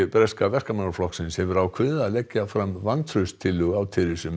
breska Verkamannaflokksins hefur ákveðið að leggja fram vantrauststillögu á